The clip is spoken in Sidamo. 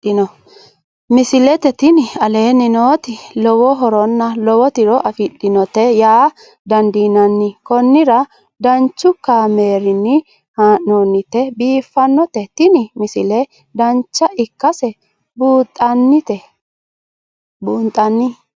misile tini aleenni nooti lowo horonna lowo tiro afidhinote yaa dandiinanni konnira danchu kaameerinni haa'noonnite biiffannote tini misile dancha ikkase buunxanni